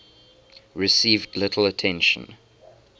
received little attention